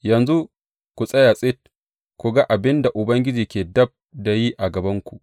Yanzu ku tsaya tsit ku ga abin da Ubangiji ke dab da yi a gabanku.